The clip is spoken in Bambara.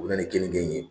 U bɛ na ni kenike ye